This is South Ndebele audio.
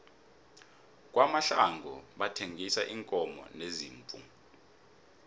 kwamahlangu bathengisa iinkomo neziimvu